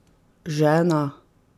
Žena?